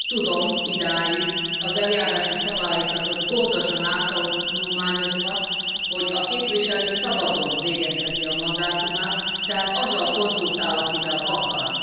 Én úgy tudom idáig, az eljárási szabályzatot gondosan áttanulmányozva, hogy a képviselő szabadon végezheti a mandátumát, tehát azzal konzultál, akivel akar.